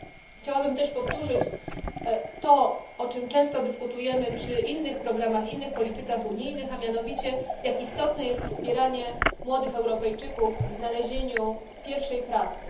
Chciałabym też powtórzyć to, o czym często dyskutujemy przy innych programach, innych politykach unijnych, a mianowicie jak istotne jest wspieranie młodych Europejczyków w znalezieniu pierwszej pracy.